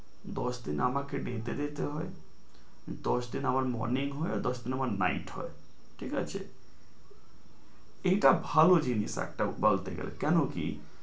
দশ দিন আমাকে day তে যেতে হয় দশ দিন আমার morning হয় দশ দিন আমার night হয় ঠিক আছে, এটা ভালো জিনিস একটা বলতে গেলে কেন কি